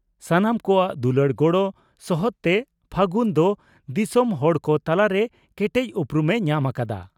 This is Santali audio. ᱥᱟᱱᱟᱢ ᱠᱚᱣᱟᱜ ᱫᱩᱞᱟᱹᱲ ᱜᱚᱬᱚ ᱥᱚᱦᱚᱫᱛᱮ ᱯᱷᱟᱹᱜᱩᱱ ᱫᱚ ᱫᱤᱥᱚᱢ ᱦᱚᱲ ᱠᱚ ᱛᱟᱞᱟᱨᱮ ᱠᱮᱴᱮᱡ ᱩᱯᱨᱩᱢ ᱮ ᱧᱟᱢ ᱟᱠᱟᱫᱟ ᱾